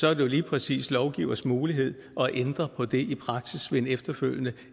er det jo lige præcis lovgivers mulighed at ændre på det i praksis ved en efterfølgende